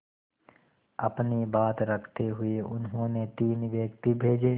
अपनी बात रखते हुए उन्होंने तीन व्यक्ति भेजे